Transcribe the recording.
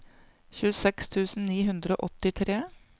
tjueseks tusen ni hundre og åttitre